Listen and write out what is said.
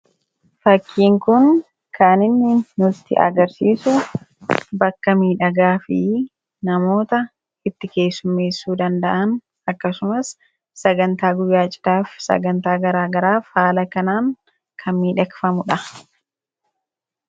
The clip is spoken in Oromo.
Fakkiin kun kan inni nutti agarsiisu bakka miidhagaa fi namoota itti keessummeessuu danda'an akkasumas sagantaa guyyaa cidhaaf sagantaa garaagaraaf haala kanaan kan miidhagfamudha.